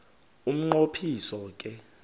umnqo phiso ke